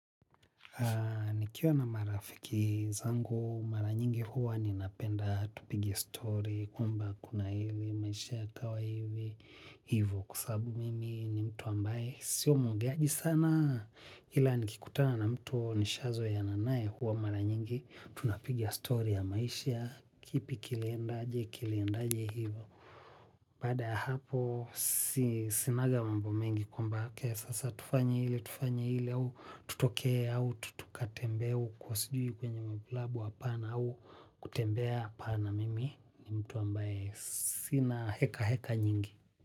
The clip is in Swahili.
Nikiwa na marafiki zangu, mara nyingi huwa napenda, tupige stori, kwamba kuna hivi, maisha yakawa hivi, hivo kwa sababu mimi ni mtu ambaye, si muongeaji sana, ila nikikutana na mtu nishazoeana naye huwa mara nyingi, tunapigia story ya maisha, kipi kilendaje, kilendaje hivyo. Baada ya hapo sinaga mambo mengi kwamba sasa tufanye lile tufanye lile au tutoke au tukatembee sijui kwenye klabu au kutembee, hapana mimi ni mtu ambaye sina hekaheka nyingi.